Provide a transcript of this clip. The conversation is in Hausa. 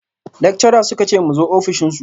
Lectures suka ce mu zo ofishin su